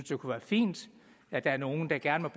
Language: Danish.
det kunne være fint at der er nogle der gerne